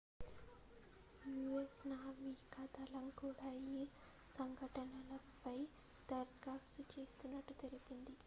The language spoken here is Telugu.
us నావికాదళం కూడా ఈ సంఘటనపై దర్యాప్తు చేస్తున్నట్లు తెలిపింది